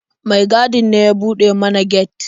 Mai gadin ne ya buɗe mana get.